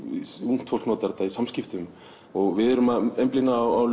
ungt fólk notar þetta í samskiptum og við erum að einblína á